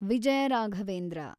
Vijaya Raghavendra